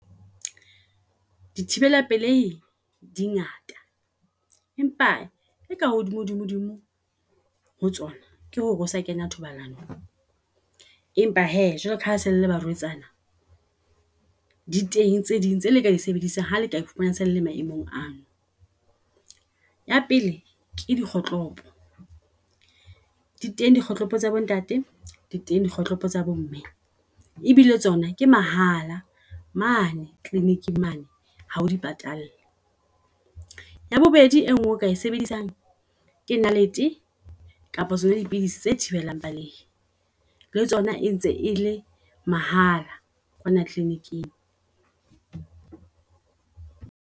Di thibela pelei di ngata, empa e ka hodimo dimo ho tsona ke hore o sa kena thobalanong. Empa hee jwalo kaha se le le barwetsana di teng tse ding tse le ka di sebedisang ha le kae phumana selele maemong ana. Ya pele ke di kgohlopo di teng di kgohlopo tsa bo ntate. Di teng di kgohlopo tsa bomme, e bile tsona ke mahala mane kliniking mane ha o di patalle. Ya bobedi e ngee eo o kae sebedisang ke nalete kapa tsona di pidisi tse thibelang balehe le tsona e ntse e le mahala kwana kliniking.